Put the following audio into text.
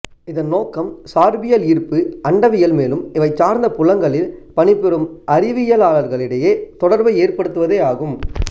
இதன் நோக்கம் சார்பியல் ஈர்ப்பு அண்டவியல் மேலும் இவைசார்ந்த புலங்களில் பணிபுரியும் அறிவியலார்களிடையே தொடர்பை ஏற்ப்டுத்துவதே ஆகும்